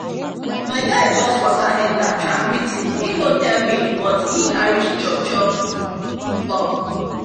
my guy just waka enter track meet e no tell me but e carry chop chop come